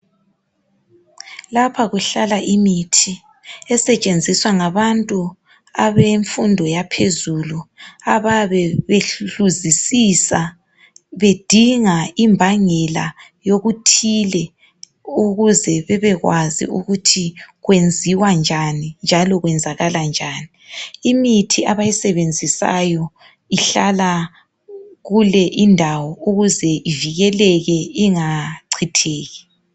Lapha kuhlala imithi esetshenziswa ngabantu abemfundo yaphezulu abayabe behluzisisa bedinga imbangela yokuthile ukuze bebekwazi ukuthi kwenziwa njani njalo kwenzakala njani. Imithi abayisebenzisayo ihlala kule indawo ukuze ivikeleke ingachitheki.